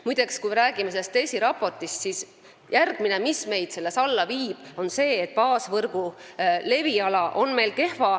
Muide, kui me räägime DESI raportist, siis järgmine asi, mis meid seal allapoole viib, on see, et baasvõrgu leviala on meil kehv.